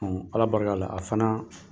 Ala barika la a fana